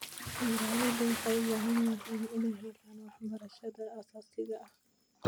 Beeraleydu waxay u baahan yihiin inay helaan waxbarashada aasaasiga ah.